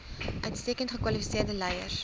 uitstekend gekwalifiseerde leiers